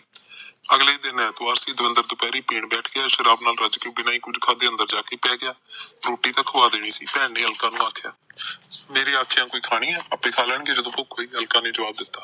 ਅਗਲੇ ਦਿਨ ਐਤਵਾਰ ਸੀ ਦਵਿੰਦਰ ਦੁਪਿਹਰੇ ਪੀਣ ਬੈਠ ਗਿਆ ਸ਼ਰਾਬ ਨਾਲ ਰੱਜ ਕੇ ਬਿਨਾ ਕੁਝ ਖਾਕੇ ਅੰਦਰ ਜਾਕੇ ਪੈ ਗਿਆ ਰੋਟੀ ਤਾ ਖੁਆ ਦੇਣੀ ਸੀ ਭੈਣ ਨੇ ਅਲਕਾ ਨੂੰ ਆਖਿਆ ਮੇਰੇ ਆਖਿਆ ਖਾਣੀ ਐ ਆਪੇ ਖਾ ਲੈਣਗੇ ਜਦੋਂ ਭੁਖ ਹੋਈ ਅਲਕਾ ਨੇ ਜਵਾਬ ਦਿੱਤਾ